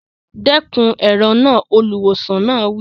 Dẹ́kun èrò náà! Olùwòsàn náà wí.